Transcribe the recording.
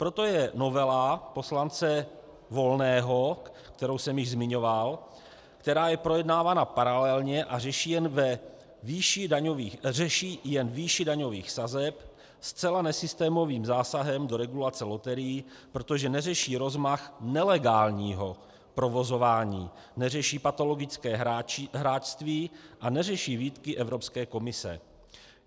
Proto je novela poslance Volného, kterou jsem již zmiňoval, která je projednávána paralelně a řeší jen výši daňových sazeb, zcela nesystémovým zásahem do regulace loterií, protože neřeší rozmach nelegálního provozování, neřeší patologické hráčství a neřeší výtky Evropské komise.